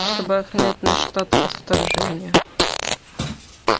чтобы охранять наш штат от вторжения